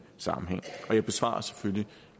sammenhæng og jeg besvarer selvfølgelig